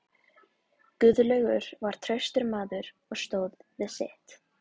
Guðlaugur var traustur maður og stóð við sitt.